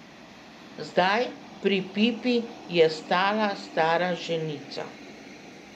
Zadaj, pri pipi, je stala stara ženica.